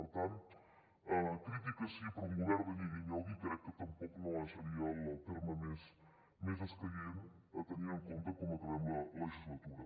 per tant crítiques sí però un govern de nyigui nyogui crec que tampoc no seria el terme més escaient tenint en compte com acabem la legislatura